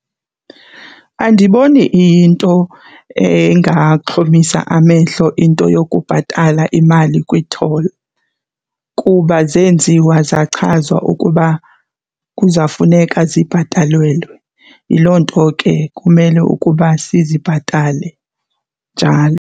Andiboni iyinto engaxhomisa amehlo into yokubhatala imali kwi-toll kuba zenziwa zachazwa ukuba kuzawufuneka zibhatelelwe, yiloo nto ke kumele ukuba sizibhatale .